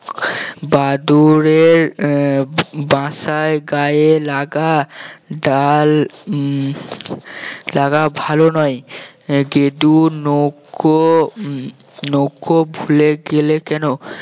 বাদুড়ের আহ বা~ বাসায় গায়ে লাগা ডাল উম লাগা ভালো নয় গেদু নৌকা নৌকা ভুলে গেলে কেন